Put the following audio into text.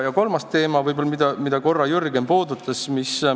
Kolmas teema, mida Jürgen korra puudutas.